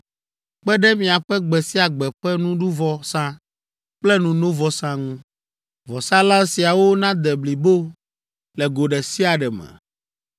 kpe ɖe miaƒe gbe sia gbe ƒe nuɖuvɔsa kple nunovɔsa ŋu. Vɔsalã siawo nade blibo le go ɖe sia ɖe me.